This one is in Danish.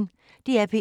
DR P1